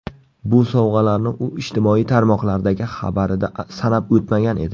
Bu sovg‘alarni u ijtimoiy tarmoqlardagi xabarida sanab o‘tmagan edi.